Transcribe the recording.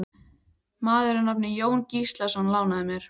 Maður að nafni Jón Gíslason lánaði mér.